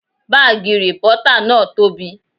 Bààgì rìpọ́tà náà tobi